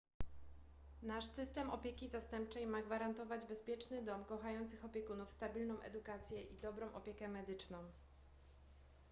nasz system opieki zastępczej ma gwarantować bezpieczny dom kochających opiekunów stabilną edukację i dobrą opiekę medyczną